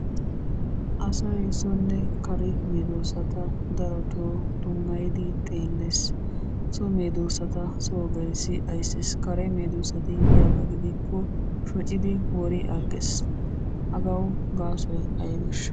Asay sonne kare medossata darotoo dummayidi xeelles. So medossata Soo gelissi ayisses. Kare medoossati yiyaba gidikko shocidi wori agges. Hagawu gaasoy ayibeeshsha?